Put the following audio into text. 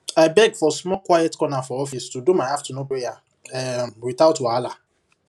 i beg for small quiet corner for office to do my afternoon prayer um without wahala